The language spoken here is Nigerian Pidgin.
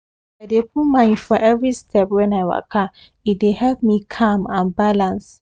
as i dey put mind for every step when i waka e dey help me calm and balance